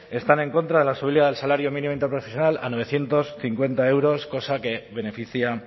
están en contra de la subida del salario mínimo interprofesional a novecientos cincuenta euros cosa que beneficia